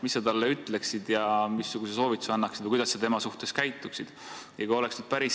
Mis sa talle ütleksid ja missuguse soovituse annaksid või kuidas temaga käituksid?